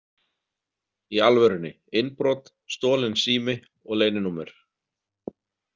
Í alvörunni, innbrot, stolinn sími og leyninúmer.